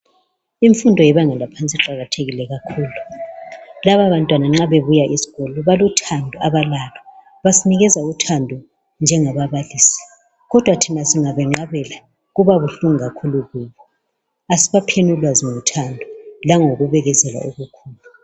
Imfundo yebanga laphansi labantwana nxa bebuya esikolo balothando abalalo basinikeza uthando njengababalisi kodwa thina singabenqabela kuba buhlungu kakhulu Kubo kasibapheni ulwazi ngothando langokubekezela okukhulu.